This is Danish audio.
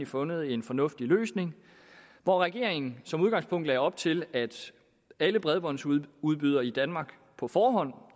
fundet en fornuftig løsning hvor regeringen som udgangspunkt lagde op til at alle bredbåndsudbydere i danmark på forhånd